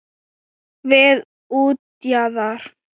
Við útjaðar